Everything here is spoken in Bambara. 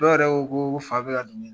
Dɔw yɛrɛ ko ko fa bɛ ka don